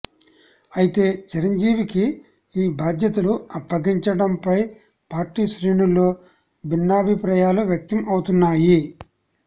అయితే చిరంజీవికి ఈ బాధ్యతలు అప్పగించటంపై పార్టీ శ్రేణుల్లో భిన్నాభిప్రాయాలు వ్యక్తం అవుతున్నాయి